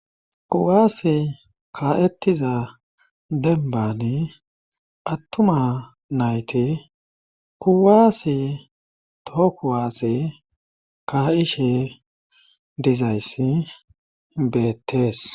Kuwaase ka7ettiza dembani attuma nayte kuwaase too kuwaasse ka7ishe dizayssi beettees.